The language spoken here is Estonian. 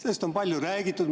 Sellest on palju räägitud.